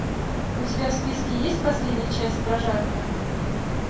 у тебя в списке есть последняя часть прожарка